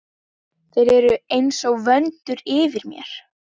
Þeir eru einsog vöndur yfir mér.